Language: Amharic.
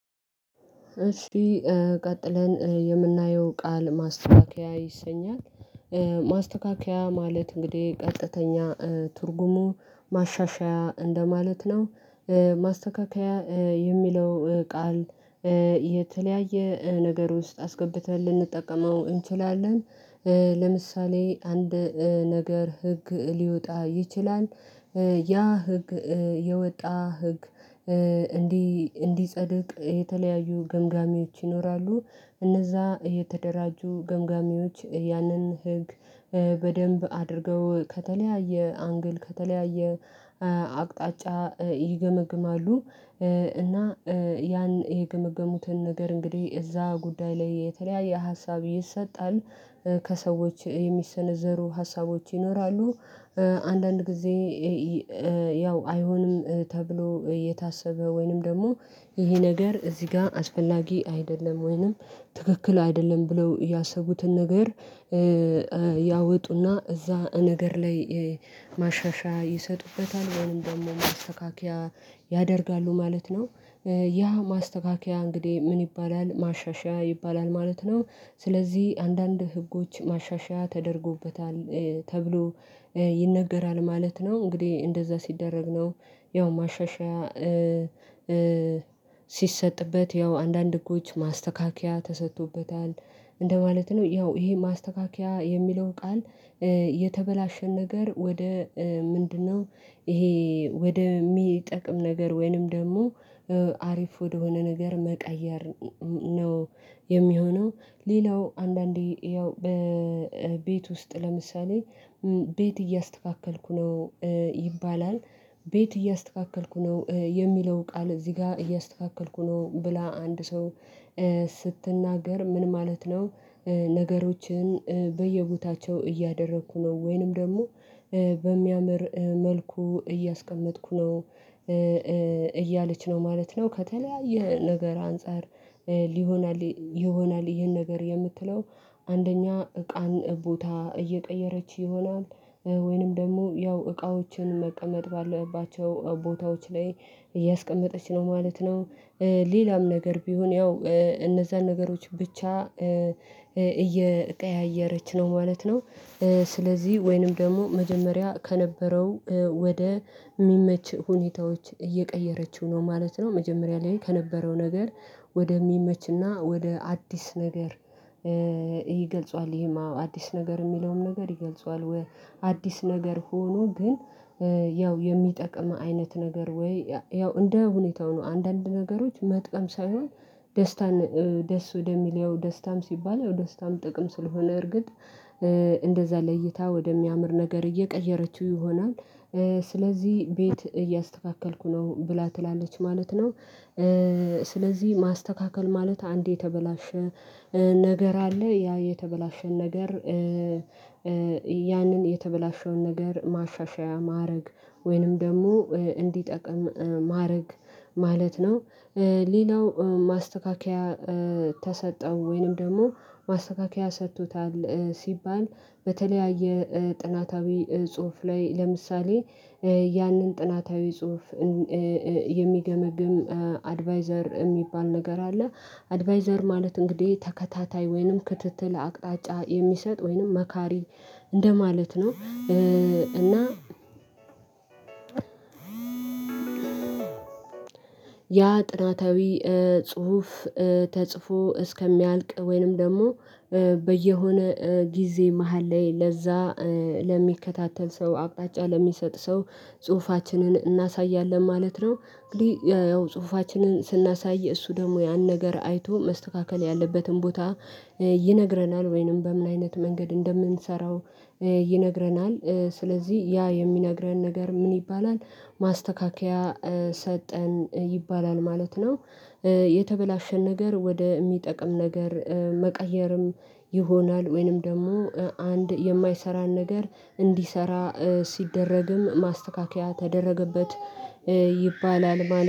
እሺ ቀጥለን የምናየው ቃል ማስተካከያ ይሰኛል ማስተካከያ ማለት እንግዲህ ቀጥተኛ ትርጉሙ ማሻሻያ እንደማለት ነው። ማስተካከያ የሚለው ቃል የተለያየ ነገር ውስጥ አስገብተን ልንጠቀመው እንችላለን። ለምሳሌ አንድ ነገር ህግ ሊወጣ ይችላል። ያ ህግ የወጣ ህግ እንዲጸድቅ የተለያዩ ገምጋሚዎች ይኖራሉ። እነዛ የተደራጁ ገምጋሚዎች ያንን ህግ በደንብ አድርገው ከተለያየ አንግል ከተለያየ አቅጣጫ ይገመግማሉ። እና ያን የገመገሙትን ነገር እንግዲህ እዛ ጉዳይ ላይ የተለያየ ሀሳብ ይሰጣል ከሰዎች የሚሰነዘሩ ሀሳቦች ይኖራሉ። አንዳንድ ጊዜ ያው አይሆንም ተብሎ የታሰበ ወይንም ደግሞ ይሄ ነገር እዚህ ጋር አስፈላጊ አይደለም ወይንም ትክክል አይደለም ብለው ያሰቡትን ነገር ያወጡና እዛ ነገር ላይ ማሻሻያ ይሰጡበታል ወይንም ደግሞ ማስተካከያ ያደርጋሉ ማለት ነው። ያ ማስተካከያ እንግዲህ ምን ይባላል ማሻሻያ ይባላል ማለት ነው። ስለዚህ አንዳንድ ህጎች ማሻሻያ ተደርጎበታል ተብሎ ይነገራል ማለት ነው። እንግዲህ እንደዛ ሲደረግ ነው ያው ማሻሻያ ሲሰጥበት ያው አንዳንድ ህጎች ማስተካከያ ተሰጥቶበታል እንደማለት ነው። ያው ይሄ ማስተካከያ የሚለው ቃል የተበላሸን ነገር ወደ ምንድነው ይሄ ወደ የሚጠቅም ነገር ወይንም ደግሞ አሪፍ ወደሆነ ነገር መቀየር ነው። የሚሆነው ሌላው አንዳንዴ ያው በቤት ውስጥ ለምሳሌ ቤት እያስተካከልኩ ነው ይባላል ቤት እያስተካከልኩ ነው የሚለው ቃል እዚህ ጋር እያስተካከልኩ ነው ብላ አንድ ሰው ስትናገር ምን ማለት ነው? ነገሮችን በየቦታቸው እያደረኩ ነው ወይንም ደግሞ በሚያምር መልኩ እያስቀመጥኩ ነው እያለች ነው ማለት ነው። ከተለያየ ነገር አንፃር ሊሆን ይሆናል ይሄን ነገር የምትለው አንደኛ እቃን ቦታ እየቀየረች ይሆናል ወይንም ደግሞ ያው እቃዎችን መቀመጥ ባለባቸው ቦታዎች ላይ እያስቀመጠች ነው ማለት ነው። ሌላም ነገር ቢሆን ያው እነዛን ነገሮች ብቻ እየቀያየረች ነው ማለት ነው። ስለዚህ ወይንም ደግሞ መጀመሪያ ከነበረው ወደ የሚመች ሁኔታዎች እየቀየረችው ነው ማለት ነው መጀመሪያ ላይ ከነበረው ነገር ወደሚመችና ወደ አዲስ ነገር ይገልጸዋል ይሄማ አዲስ ነገር የሚለውም ነገር ይገልጸዋል። አዲስ ነገር ሆኖ ግን ያው የሚጠቅም አይነት ነገር ወይ ያው እንደ ሁኔታው ነው አንዳንድ ነገሮች መጥቀም ሳይሆን ደስታን ደስ ወደሚለው ደስታም ሲባል ደስታም ጥቅም ስለሆነ እርግጥ እንደዛ ለይታ ወደሚያምር ነገር እየቀየረችው ይሆናል። ስለዚህ ቤት እያስተካከልኩ ነው ብላ ትላለች ማለት ነው። ስለዚህ ማስተካከል ማለት አንድ የተበላሸ ነገር አለ ያ የተበላሸውን ነገር ያንን የተበላሸውን ነገር ማሻሻያ ማድረግ ወይንም ደግሞ እንዲጠቅም ማድረግ ማለት ነው። ሌላው ማስተካከያ ተሰጠው ወይንም ደግሞ ማስተካከያ ሰጥቶታል ሲባል በተለያየ ጥናታዊ ጽሁፍ ላይ ለምሳሌ ያንን ጥናታዊ ጽሁፍ የሚገመግም አድቫይዘር የሚባል ነገር አለ። አድቫይዘር ማለት እንግዲህ ተከታታይ ወይንም ክትትል አቅጣጫ የሚሰጥ ወይንም መካሪ እንደማለት ነው። እና ያ ጥናታዊ ጽሁፍ ተጽፎ እስከሚያልቅ ወይንም ደግሞ በየሆነ ጊዜ መሃል ላይ ለዛ ለሚከታተል ሰው አቅጣጫ ለሚሰጥ ሰው ጽሁፋችንን እናሳያለን ማለት ነው። እንግዲህ ያው ጽሁፋችንን ስናሳይ እሱ ደግሞ ያን ነገር አይቶ መስተካከል ያለበትን ቦታ ይነግረናል ወይንም በምን አይነት መንገድ እንደምንሰራው ይነግረናል። ስለዚህ ያ የሚነግረን ነገር ምን ይባላል ማስተካከያ ሰጠን ይባላል ማለት ነው። የተበላሸን ነገር ወደ የሚጠቅም ነገር መቀየርም ይሆናል ወይንም ደግሞ አንድ የማይሰራን ነገር እንዲሰራ ሲደረግም ማስተካከያ ተደረገበት። ይባላል።